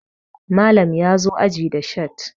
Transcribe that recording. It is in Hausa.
Malam ya zo aji da shat